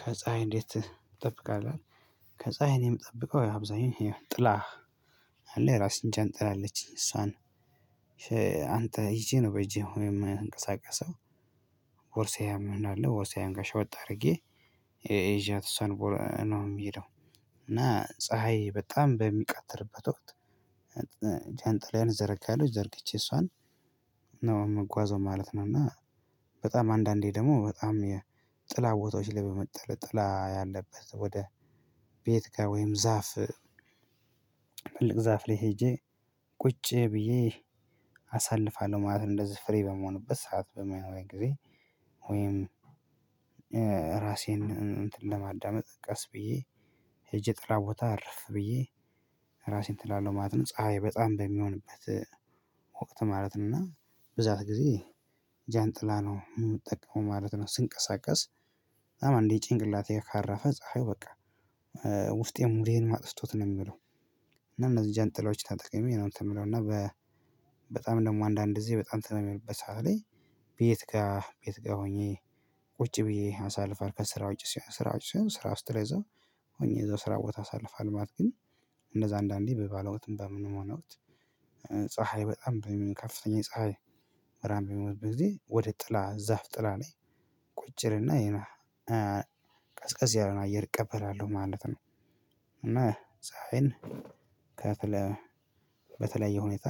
"ከፀሀይ እንዴት ትጠብቃለህ?" ይላል፣ ከፀሀይ እኔ የምጠብቀው ያው አብዛኛው ያው ጥላ አለ የራሴን ዣንጥላ አለችኝ። እሷን አንተ ይዜ ነው በእጄ አሁን የምንቀሳቀሰው። ቦርሳዬም እንዳለ ቦርሳዬን ጋር ሸጎጥ አድርጌ ይዥያት እሷን ነው የምሄደው እና ፀሀይ በጣም በሚቃተርበት ወቅት ዣንጥላዬን እዘረጋለሁ ዘርግቼ እሷን ነው የምጓዘው ማለት ነው እና በጣም አንዳንዴ ደግሞ በጣም የጥላ ቦታዎች ላይ በመጠለ ጥላ ያለበት ወደ ቤት ጋር ወይም ዛፍ ትልቅ ዛፍ ላይ ሄጄ ቁጭ ብዬ አሳልፋለሁ ማለት ነው እንደዚህ ፍሪ በምሆንበት ሰዓት በመሆን ጊዜ ወይም ራሴን እንትን ለማዳመጥ ቀስ ብዬ ሄጄ ጥላ ቦታ እርፍ ብዬ ራሴን እንትን እላለሁ ማለት ነው ፀሀይ በጣም በሚሆንበት ወቅት ማለት ነው እና በዛ ጊዜ ዣንጥላ ነው የምጠቀመው ማለት ነው ስንቀሳቀስ። አንዴ ጭንቅላቴ ላይ ካረፈ ፀሀዩ በቃ ውስጤ ሙዴንም አጥፍቶት ነው የሚውለው እና እነዚህ ዣንጥላዎች ተጠቅሜ ነው እንትን የምትለው እና በጣም ደግሞ አንዳንድ ጊዜ በጣም ተነ በሚሆንበት ሰዓት ላይ ቤት ጋር ቤት ጋር ሆኜ ቁጭ ብዬ አሳልፋል ከስራ ውጪ ስራ ውጪ ስራ ስራ ስትለዛ ሆኜ እዛው ስራ ቦታ አሳልፋለሁ ማለት ነው፤ ግን እንደዛ አንዳንዴ በባለውትም በምንሆን ወቅት ፀሀይ በጣም ከፍተኛ የፀሀይ ብርሃን በሚኖርበት ጊዜ ወደ ጥላ ዛፍ ጥላ ላይ ቁጭ እልና የነ ቀዝቀዝ ያለውን አየር እቀበላለሁ ማለት ነው እና ፀሀይን ከተለ በተለያየ ሁኔታ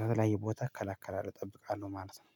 ከተለያየ ቦታ እከላከላለሁ እጠብቃለሁ ማለት ነው።